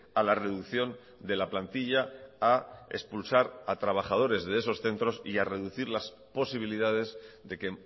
a la reducción de la plantilla a expulsar a trabajadores de esos centros y a reducir las posibilidades de que